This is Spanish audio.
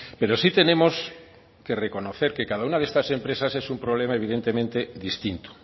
pero sí tenemos que reconocer que cada una de estas empresas es un problema evidentemente distinto